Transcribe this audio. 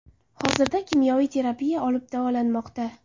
Hozirda kimyoviy terapiya olib davolanmoqda.